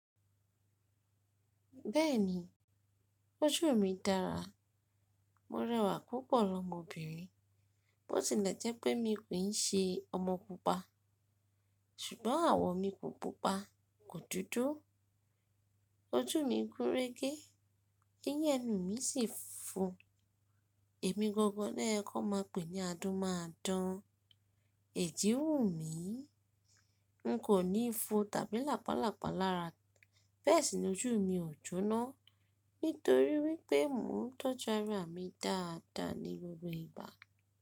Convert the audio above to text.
Bẹ́ẹ̀ni, ojú mi dára. Mo rẹwà púpọ̀ lọ́mọbìnrin, bó tilẹ̀ jẹ́ pé mi kì í ṣe ọmọ pupa. Ṣùgbọ́n àwọ̀ mi kò pupa, kò dúdú. Ojú mi gún re gé, ẹyín ẹnu mi sì fúnfun. Èmi gangan lo yẹ kó máa pè ní adún máa dán. Ẹ̀jí wù mí. N kò ní ifo tàbí làpálàpá lára. Bẹ́ẹ̀ sì ni ojú mi ò jóná, nítorí wípé mò ń tọ́jú ara mi dáadáa ní gbogbo ìgbà.